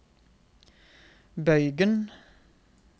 bøygen